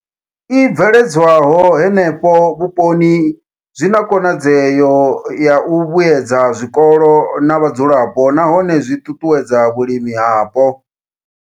I bveledzwaho henefho vhuponi zwi na khonadzeo ya u vhuedza zwikolo na vhadzulapo nahone zwi ṱuṱuwedza vhulimi hapo.